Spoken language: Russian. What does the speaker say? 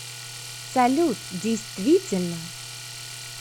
салют действительно